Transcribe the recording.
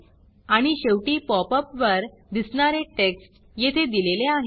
आणि शेवटी pop up वर दिसणारे टेक्स्ट येथे दिलेले आहे